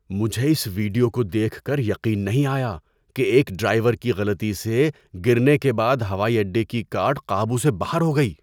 مجھے اس ویڈیوکو دیکھ کر یقین نہیں آیا کہ ایک ڈرائیور کے غلطی سے گرنے کے بعد ہوائی اڈے کی کارٹ قابو سے باہر ہو گئی۔